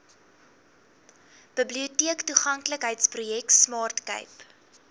biblioteektoeganklikheidsprojek smart cape